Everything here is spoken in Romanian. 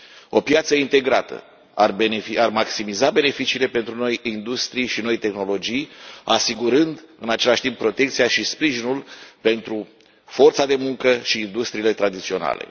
O piață integrată ar maximiza beneficiile pentru noi industrii și noi tehnologii asigurând în același timp protecția și sprijinul pentru forța de muncă și industriile tradiționale.